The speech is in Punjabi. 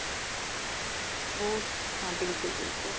ਉਹ ਹਾਂ ਬਿਲਕੁਲ ਬਿਲਕੁਲ